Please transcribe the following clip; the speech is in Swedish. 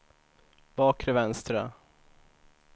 bakre vänstra